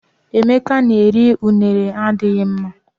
Emeka na-eri unere adighị mma.